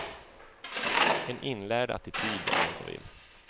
En inlärd attityd, om man så vill.